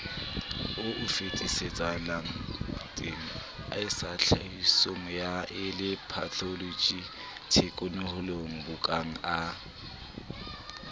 o o fetisetsapelebakengsatsatlhahlobisoyammele patholoji thekenolojiyabongaka